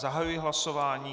Zahajuji hlasování.